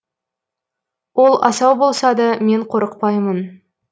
ол асау болса да мен қорықпаймын